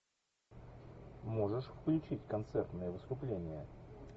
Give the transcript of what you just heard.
можешь включить концертное выступление